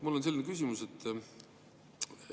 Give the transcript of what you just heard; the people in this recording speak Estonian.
Mul on selline küsimus.